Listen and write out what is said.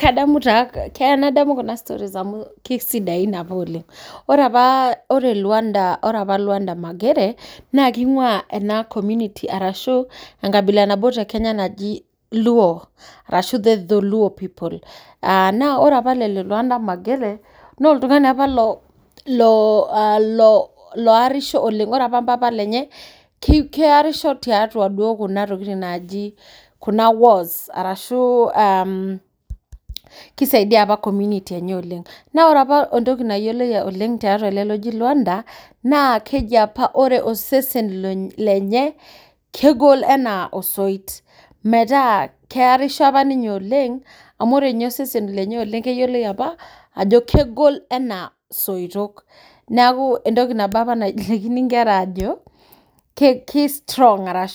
Kadamu keya nadamu kuna stories amu kesidain oleng ore apa ore luanda magere na kibgua ena community arashu enkabila nabo tekenya naji luo ashu dholuo peple aa naa ore apa ilo luanda magere na oltungani apaloarisho oleng ore apa mpapa lenye kearisho tekuna tokitin naji wars ashu tekuna tokitin as kisaidia apa oleng na ore apa entoki nayioloi teletungani oji luanda na keji apa ore osesen lenye kegol anaa osoiit amu ore apa osesen lenye na keyioloi ajo kegol anaa osoit enaa soitok entoki nabo apa najokini nkera ajo ketaa